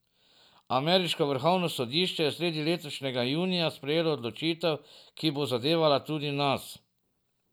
Ameriško vrhovno sodišče je sredi letošnjega junija sprejelo odločitev, ki bo zadevala tudi nas.